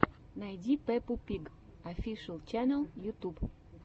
найди пеппу пиг офишэл ченнел ютюб